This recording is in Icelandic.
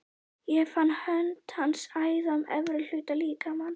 Ég fann hönd hans æða um efri hluta líkama míns.